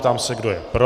Ptám se, kdo je pro.